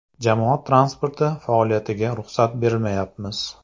Jamoat transporti faoliyatiga ruxsat bermayapmiz.